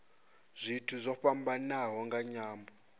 zwithu zwo fhambanaho nga nyambo